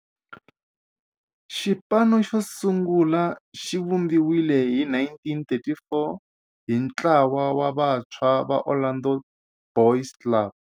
Xipano xosungula xivumbiwile hi 1934 hi ntlawa wa vantshwa va Orlando Boys Club.